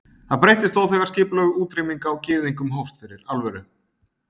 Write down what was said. Það breyttist þó þegar skipulögð útrýming á gyðingum hófst fyrir alvöru.